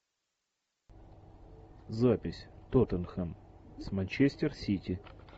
запись тоттенхэм с манчестер сити